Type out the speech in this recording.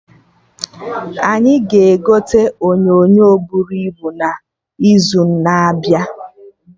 Anyị ga-egote onyonyo bụrụ ibu n'izu na-abịa